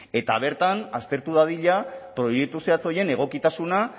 eta bertan aztertu dadila proiektu zehatz horien egokitasuna